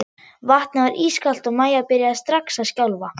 Vatnið var ískalt og Maja byrjaði strax að skjálfa.